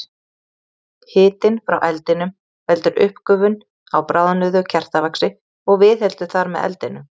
Hitinn frá eldinum veldur uppgufun á bráðnuðu kertavaxi og viðheldur þar með eldinum.